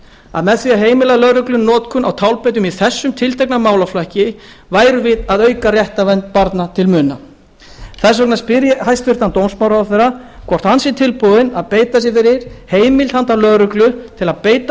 að með því að heimila lögreglu notkun á tálbeitum í þessum tiltekna málaflokki værum við að auka réttarvernd barna til muna þess vegna spyr ég hæstvirtan dómsmálaráðherra hvort hann sé tilbúinn að beita sér fyrir heimild handa lögreglu til að beita